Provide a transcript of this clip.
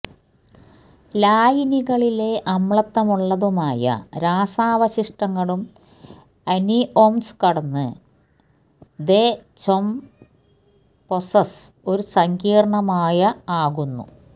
ലായനികളിലെ അമ്ലത്വമുള്ളതുമായ രാസാവശിഷ്ടങ്ങളും അനിഒംസ് കടന്നു ദെചൊംപൊസെസ് ഒരു സങ്കീർണ്ണമായ ആകുന്നു